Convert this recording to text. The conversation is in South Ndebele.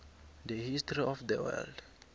the history of the world